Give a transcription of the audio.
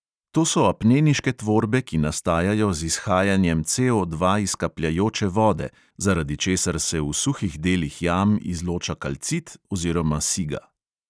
To so apneniške tvorbe, ki nastajajo z izhajanjem CO dva iz kapljajoče vode, zaradi česar se v suhih delih jam izloča kalcit oziroma siga.